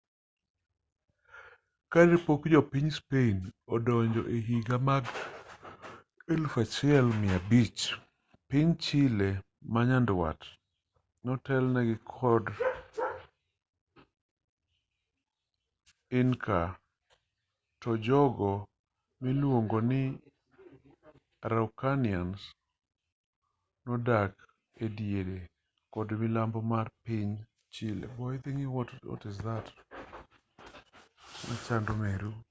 kanepok jo piny spain odonjo ehiga mag 1500 piny chile manyandwat notelnegi kod inca to jogo miluongo ni araucanians mapuche nodak ediere kod milambo mar piny chile